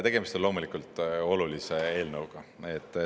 Tegemist on olulise eelnõuga.